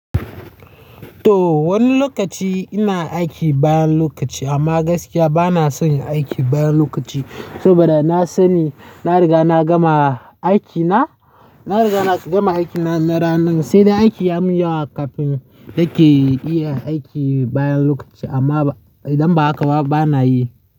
To wani lokaci ina aiki bayan lokaci amma gaskiya bana son aiki bayan lokaci, saboda na sani na riga na gama aiki na, na riga na gama aiki na na ranan. Sai dai in aiki ya min yawa kafin nake iya aiki bayan lokaci amma idan ba haka ba bana yi.